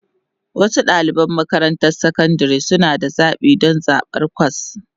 Wasu ɗaliban makarantar sakandare suna da zaɓi don zaɓar kwas